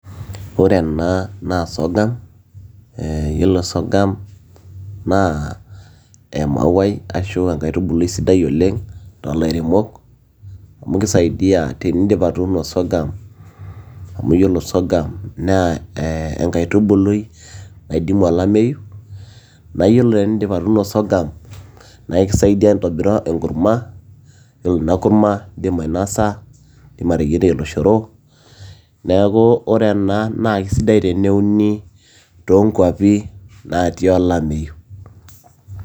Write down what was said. Ore ena naa sorghurm yiolo sorghum naa emauai ashu enkaitubului sidai oleng' too ilairemok amu kisaidia tenidip atuuno sorghurm amu yiolo sorghum naa enkaitubului naidimu olameyu. Naa yiolo tenidip atuuno sorghurm naa ekisaidia ntobira enkurma. Ore ina kurma naa idim ainosa, idim ateyieri oloshoro niaku ore ena naa keisidai teneuni too nkuapi natii olameyu.